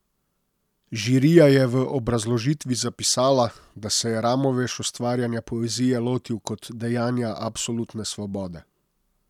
Žirija je v obrazložitvi zapisala, da se je Ramoveš ustvarjanja poezije lotil kot dejanja absolutne svobode.